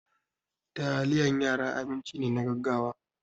Taliyan yara abinci ne na gaggawa.